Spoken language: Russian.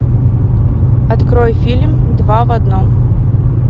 открой фильм два в одном